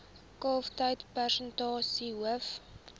kalftyd persentasie hoof